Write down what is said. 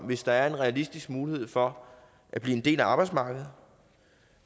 hvis der er en realistisk mulighed for at blive en del af arbejdsmarkedet